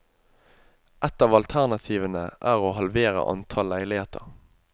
Ett av alternativene er å halvere antall leiligheter.